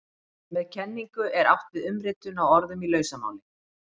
Með kenningu er átt við umritun á orðum í lausamáli.